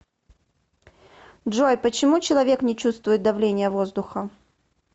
джой почему человек не чувствует давления воздуха